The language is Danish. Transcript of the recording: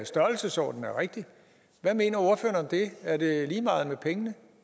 størrelsesordenen er rigtig hvad mener ordføreren om det er det lige meget med pengene